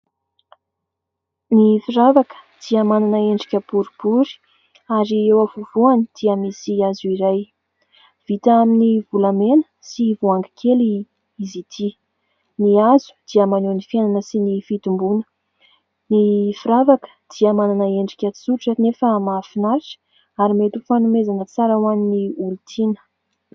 Ny firavaka dia manana endrika boribory, ary eo afovoany dia misy hazo iray vita amin'ny volamena sy voangy kely izy ity. Ny hazo dia maneho ny fiainana sy ny fitomboana. Ny firavaka dia manana endrika tsotra nefa mahafinaritra, ary mety ho fanomezana tsara ho an'ny olo-tiana.